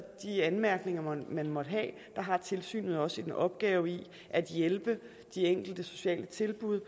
anmærkninger man måtte have har tilsynet også en opgave i at hjælpe de enkelte sociale tilbud